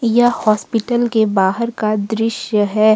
यह हॉस्पिटल के बाहर का दृश्य है।